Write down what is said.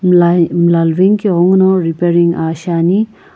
mlla mlla luveni ke ghenguno repairing shiani.